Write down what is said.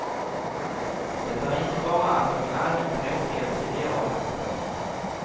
Det är inte bara att de är allmänt tråkiga och triviala. punkt